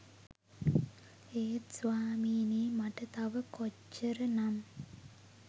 ඒත් ස්වාමීනී මට තව කොච්චර නම්